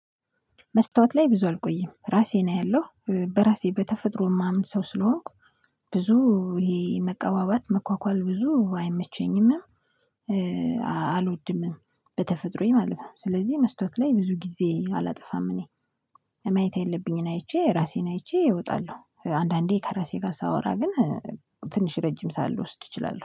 መስታወት ላይ ብዙ አልቆይም። ራሴን አያለሁ። በራሴ በተፈጥሮ ማምን ሰው ስለሆንኩ ብዙ ይሄ መቀባባት መኳኳል ብዙ አይመቸኝም። አልወድምም። በተፈጥሮየ ማለት ነው። ስለዚህ መስታወት ላይ ብዙ ጊዜ አላጠፋም። እኔ ማየት ያለብኝን አይቼ ራሴን አይቼ እወጣለሁ። አንዳንዴ ከራሴ ጋር ሳወራ ግን ትንሽ ረጅም ሰዓት ልወስድ እችላለሁ።